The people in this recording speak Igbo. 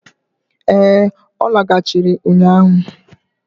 Ee, ọ lagachịrị ụnyaahụ.